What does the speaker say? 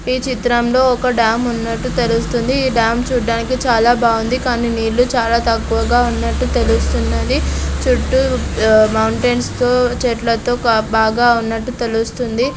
ఈ చిత్రంలో ఒక డ్యామ్ ఉన్నట్టు తెలుస్తోంది. ఈ డ్యామ్ చూడ్డానికి చాలా బాగుంది. కానీ నీళ్లు చాలా తక్కువగా ఉన్నట్టు తెలుస్తున్నది. చుట్టూ ఆ మౌంటెన్స్ తో చెట్లతో బాగా ఉన్నట్టు తెలుస్తుంది.